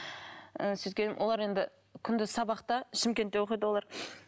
ы олар енді күнде сабақта шымкентте оқиды олар